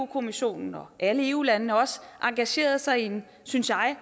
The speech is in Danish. kommissionen og alle eu landene også engageret sig i en synes jeg